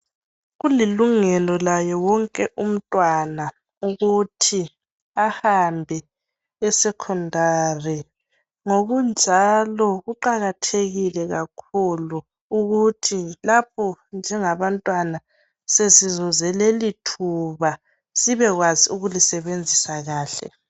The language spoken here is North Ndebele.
Kulilungelo laye wonke umntwana ukuthi ahambe esecondary .Ngokunjalo kuqakathekile kakhulu ukuthi lapho singabantwana sesizuze lelithuba sibekwazi ukulisebenzisa kahle .